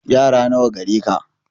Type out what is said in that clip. Yara nawa gare ka